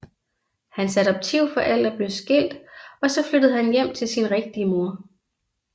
Hans adoptivforældre blev skilt og så flyttede han hjem til sin rigtige mor